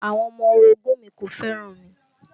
Àwọn ọmọ orogún ùn mi kò fẹ́ràn mi